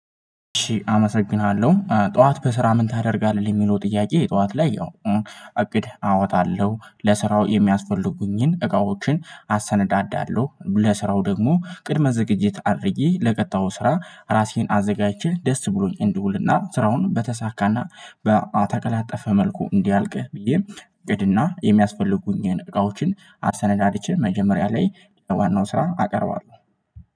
አመሰግንሃለሁ ጠዋት በስራ ምን ታደርጋለህ የሚለው ጥያቄ ጠዋት ላይ ያው እቅድ አወጣለሁ ለስራው የሚያስፈልጉኝን እቃዎችን አሰነዳዳለሁ ለስራው ደግሞ ቅድመ ዝግጅት አድርጌ ለቀጣው ስራ ራሴን አዘጋጅቼ ደስ ብሎኝ እንድውልና ስራውን በተሳካና በኣተቀላጠፈ መልኩ እንዲያልቅ ብዬ እቅድና የሚያስፈልጉኝን እቃዎችን አሰነዳድቼ መጀመሪያ ላይ ዋናው ስራ አቀርባለሁ።